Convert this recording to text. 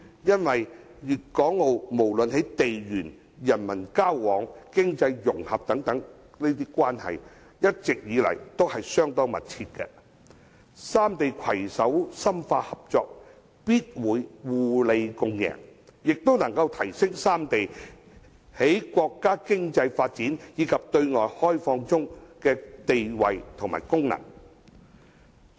粵港澳不論在地緣、人民交往和經濟融合等關係一直相當密切，三地攜手深化合作，必會互利共贏，亦可提升三地在國家經濟發展及對外開放中的地位和功能。